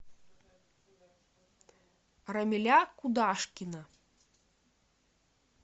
рамиля кудашкина